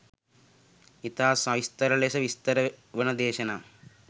ඉතා සවිස්තර ලෙස විස්තර වන දේශනා